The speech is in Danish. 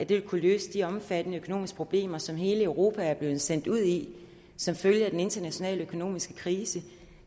vil kunne løse de omfattende økonomiske problemer som hele europa er blevet sendt ud i som følge af den internationale økonomiske krise